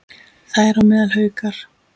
Þar á meðal Haukar.